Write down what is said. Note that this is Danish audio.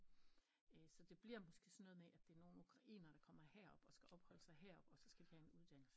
Så det bliver måske sådan noget med at det er nogen ukrainer der kommer her op og skal opholde sig her oppe og så skal de have en uddannelse